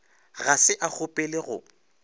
ga se a kgopele go